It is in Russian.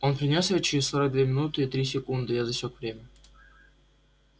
он принёс его через сорок две минуты и три секунды я засек время